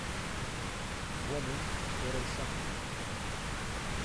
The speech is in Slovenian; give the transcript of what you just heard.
Dvomim, torej sem.